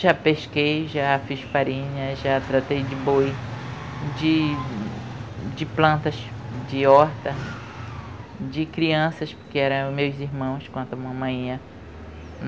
Já pesquei, já fiz farinha, já tratei de boi, de de plantas, de horta, de crianças, porque eram meus irmãos enquanto a mamãe ia